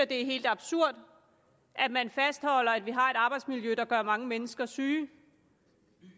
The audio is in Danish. det er helt absurd at man fastholder at vi har et arbejdsmiljø der gør mange mennesker syge